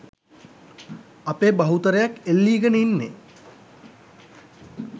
අපේ බහුතරයක් එල්ලීගෙන ඉන්නේ.